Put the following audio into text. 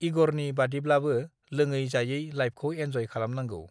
इगरनि बादिब्लाबो लोङै जायै लाइफखौ एन्जय खालामनांगौ